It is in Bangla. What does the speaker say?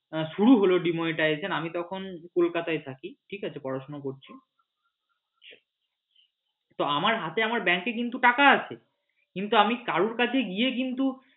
হ্যাঁ শুরু হল demonetization আমি তখন কলকাতায় থাকি পড়াশুনা করছি কিন্তু আমার হাতে আমার ব্যাঙ্ক এ কিন্তু টাকা আছে কিন্তু আমি কারোর কাছে গিয়ে কিন্তু